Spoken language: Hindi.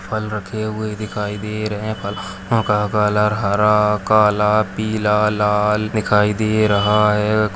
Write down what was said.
फल रखे हुए दिखाई दे रहे है फलों का कलर हरा काला पीला लाल दिखाई दे रहा है --